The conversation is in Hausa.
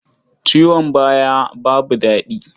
Ciwon baya babu daɗi.